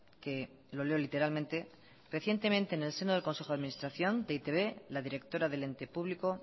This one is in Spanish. que lo leo literalmente recientemente en el seno del consejo de administración de e i te be la directora del ente público